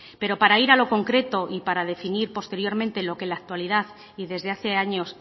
pero para ir a lo concreto y para definir posteriormente lo que en la actualidad y desde hace años